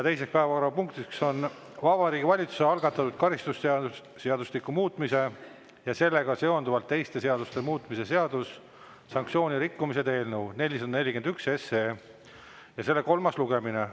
Teine päevakorrapunkt on Vabariigi Valitsuse algatatud karistusseadustiku muutmise ja sellega seonduvalt teiste seaduste muutmise seaduse eelnõu 441 kolmas lugemine.